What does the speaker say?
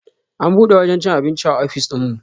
An bude wajen cin abinci a ofis dinmu